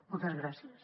moltes gràcies